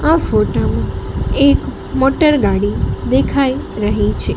આ ફોટા માં એક મોટરગાડી દેખાય રહી છે.